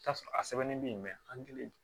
I bi t'a sɔrɔ a sɛbɛnnen be yen ankelen